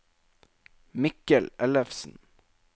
Mikkel Ellefsen